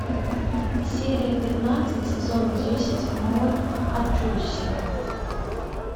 серия пятнадцать сезон десять мой аджосси